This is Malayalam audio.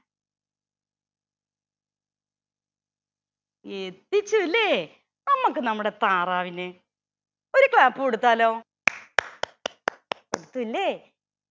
എത്തിച്ചു അല്ലേ. നമ്മക്ക് നമ്മുടെ താറാവിന് ഒരു clap കൊടുത്താലോ കൊടുത്തുലേ